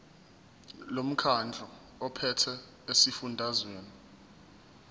lomkhandlu ophethe esifundazweni